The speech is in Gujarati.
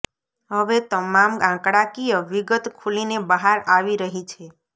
હવે તમામ આંકડાકીય વિગત ખુલીને બહાર આવી રહી છે